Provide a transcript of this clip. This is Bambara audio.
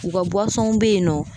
U ka buwsɔnw be yen nɔ